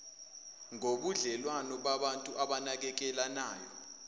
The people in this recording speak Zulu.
ngobudlelwano babantu abanakekelanayo